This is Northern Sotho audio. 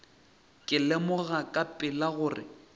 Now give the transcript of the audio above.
ka lemoga ka pela gore